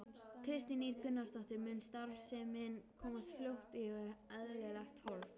Kristín Ýr Gunnarsdóttir: Mun starfsemin komast fljótt í eðlilegt horf?